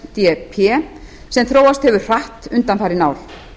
ef sem þróast hefur hratt undanfarin ár